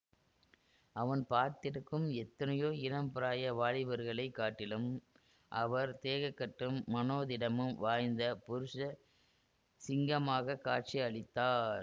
அவன் பார்த்திருக்கும் எத்தனையோ இளம் பிராய வாலிபர்களைக் காட்டிலும் அவர் தேகக்கட்டும் மனோதிடமும் வாய்ந்த புருஷ சிங்கமாகக் காட்சி அளித்தார்